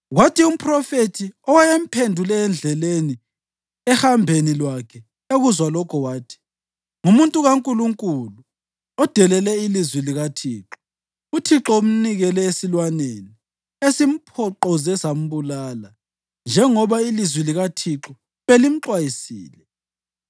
Kwathi umphrofethi owayemphendule endleleni ehambeni lwakhe ekuzwa lokhu, wathi, “Ngumuntu kaNkulunkulu odelele ilizwi likaThixo. UThixo umnikele esilwaneni, esimphoqoze sambulala, njengoba ilizwi likaThixo belimxwayisile.”